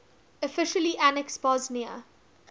officially annexed bosnia